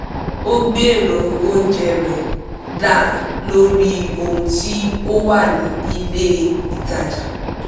ó gbero oúnjẹ rẹ̀ dá lórí ohun tí ó wà ní ilé itaja